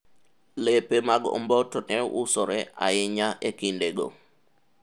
lepe mag omboto ne usore ahinya e kinde go